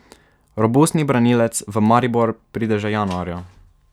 Robustni branilec v Maribor pride že januarja.